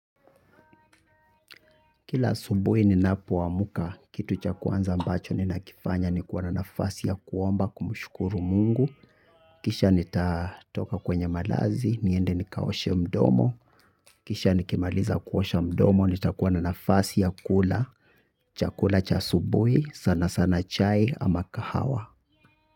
Kila asubuhi ninapoamka, kitu cha kwanza ambacho ninakifanya ni kuwa na nafasi ya kuomba kumshukuru mungu. Kisha nitatoka kwenye malazi, niende nikaoshe mdomo. Kisha nikimaliza kuosha mdomo nitakuwa na nafasi ya kula. Chakula cha asubuhi, sana sana chai ama kahawa.